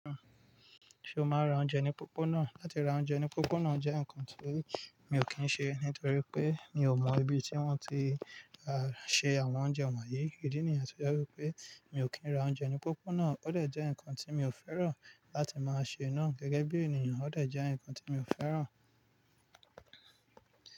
Ṣé o máa ra oúnjẹ ní pópónà? Láti ra oúnjẹ ní pópónà jẹ́ nǹkan tí mi ò kí ṣe, nítorí pé mi ò mọ ibi tí wọ́n ti á ṣe àwọn oúnjẹ wọ̀nyí. Ìdí nìyẹn tó jẹ́ wípé mi ò kí ń ra oúnjẹ ní pópónà. Ó dẹ̀ jẹ́ ǹkan tí mi ò fẹ́ràn láti máa ṣe náà gẹ́gẹ́ bí ènìyàn, ó dẹ̀ jẹ́ ǹkan tí mi ò fẹ́ràn.